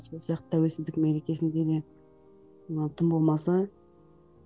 сол сияқты тәуелсіздік мерекесінде де тым болмаса